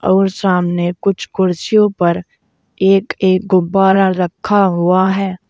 और सामने कुछ कुर्सियों पर एक एक गुब्बारा रखा हुआ है।